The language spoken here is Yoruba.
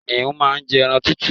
Kìnìún má n jẹ ẹran tútù